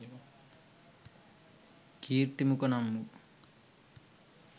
කීර්ති මුඛ නම් වූ